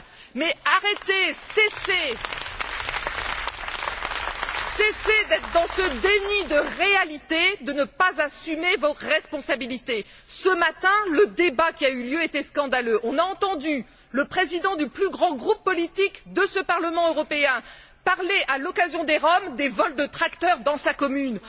Mais arrêtez, cessez d'être dans ce déni de réalité, de ne pas assumer vos responsabilités! Ce matin, le débat qui a eu lieu était scandaleux. On a entendu le président du plus grand groupe politique de ce Parlement européen parler, au sujet des Roms, des vols de tracteurs dans sa commune.